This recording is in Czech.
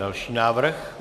Další návrh.